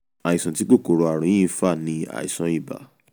àìsàn tí kòkòrò ààrùn yìí ń fà ni àìsàn ibà